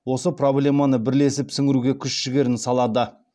осы проблеманы бірлесіп сіңіруге күш жігерін салады